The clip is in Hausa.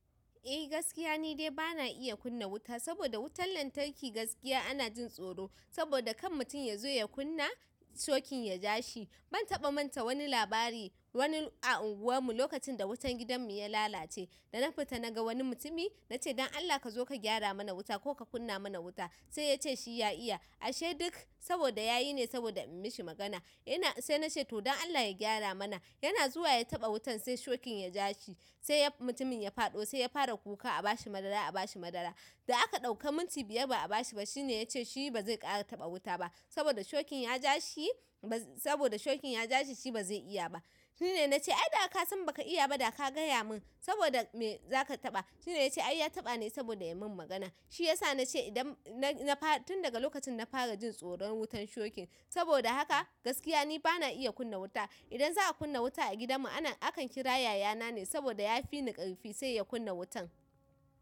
Eh gaskiya ni dai bana iya kunna wuta saboda wutan lantarki gaskiya ana jin tsoro saboda kan mutum yazo ya kunna shokin yaja shi. Ban taɓa manta wani labari wani a unguwan mu lokacin da wutan gidan mu ya lalace da na fita na ga wani mutumi na ce don Allah ka zo ka gyara mana wuta ko ka kunna mana wuta. Sai ya ce shi ya iya ashe duk saboda yayi ne saboda in mishi magana. Ina sai na ce to don Allah ya gyara mana. Yana zuwa ya taɓa wutan sai shokin ya ja shi sai mutumin ya faɗo sai ya fara kuka a bashi madara a bashi madara. Da aka duaka minti biyar ba a bashi ba shine ya ce shi ba zai ƙara taɓa wuta ba saboda shokin ya ja shi ba saboda shokin ya ja shi shi ba zai iya ba. Shine na ce ai da ka san ba ka iya ba da ka gaya mun saboda me za ka taɓa. Shine ya ce ai ya taɓa ne saboda ya min magana. Shi yasa na ce idan na fara tun daga lokacin na fara jin tsoron wutan shokin. Saboda haka gaskiya ni bana iya kunna wuta. Idan za a kunna wuta a gidan mu ana akan kira yaya na ne saboda ya fi ni ƙarfi sai ya kunna wutan.